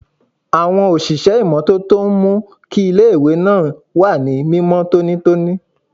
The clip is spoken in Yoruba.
Àwọn òṣìṣẹ́ ìmọ́tótó ń mú kí iléèwé náà wà ní mímọ́ tónítóní